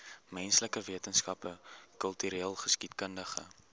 menslike wetenskappe kultureelgeskiedkundige